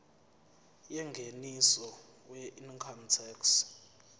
yengeniso weincome tax